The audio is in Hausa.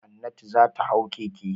Hannatu za ta hau keke.